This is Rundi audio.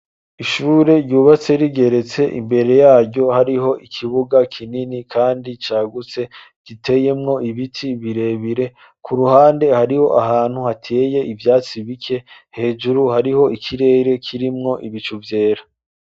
Ishure ryubatse rigeretse imbere yaryo hariho ikibuga kinini kandi cagutse giteyemwo ibiti birebire ku ruhande hariho ahantu hateye ivyatsi bike hejuru hariho ikirere kirimwo ibicu vyera.